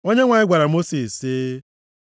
Onyenwe anyị gwara Mosis sị,